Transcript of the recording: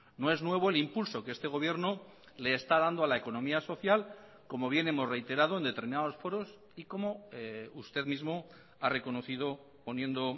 no es nuevo el impulso que este gobierno le está dando a la economía social como bien hemos reiterado en determinados foros y como usted mismo ha reconocido poniendo